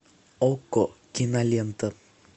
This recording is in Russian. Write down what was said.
окко кинолента